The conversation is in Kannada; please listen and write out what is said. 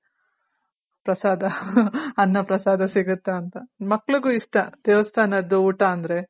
ಪ್ರಸಾದ ಅನ್ನ ಪ್ರಸಾದ ಸಿಗುತ್ತಾ ಅಂತ ಮಕ್ಳುಗು ಇಷ್ಟ ದೇವಸ್ಥಾನದ್ ಊಟ ಅಂದ್ರೆ.